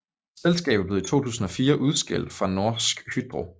Selskabet blev i 2004 udskilt fra Norsk Hydro